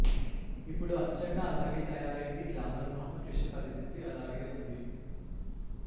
ఇప్పుడు అచ్చంగా అలాగే తయారైంది గ్లామర్ భామ త్రిష పరిస్థితి అలాగే ఉంది